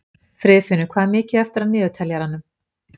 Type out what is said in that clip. Friðfinnur, hvað er mikið eftir af niðurteljaranum?